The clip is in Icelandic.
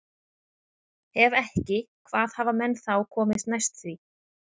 Ef ekki, hvað hafa menn þá komist næst því?